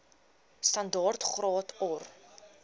standaard graad or